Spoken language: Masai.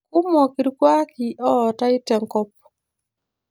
Kumok irkuaki ootae tenkop